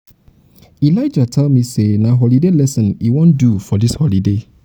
elijah tell me say na holiday lesson he wan do for dis holiday